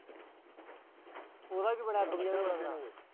ਉਹਦਾ ਕੀ ਬਣਿਆ।